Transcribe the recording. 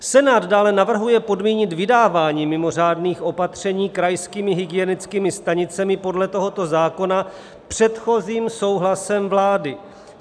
Senát dále navrhuje podmínit vydávání mimořádných opatření krajskými hygienickými stanicemi podle tohoto zákona předchozím souhlasem vlády.